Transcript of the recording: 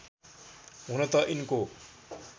हुन त यिनको